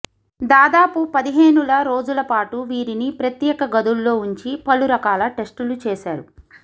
దాదాపు పది హేనుల రోజులపాటు వీరిని ప్రత్యేక గదుల్లో ఉంచి పలు రకాల టెస్టులు చేశారు